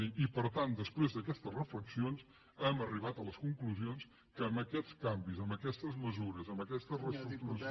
dir i per tant després d’aquestes reflexions hem arribat a les conclusions que amb aquests canvis amb aquestes mesures amb aquesta reestructuració